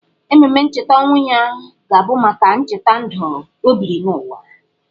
Ememe ncheta ọnwụ ya ga-abụ maka ncheta ndụ o biri n’ụwa.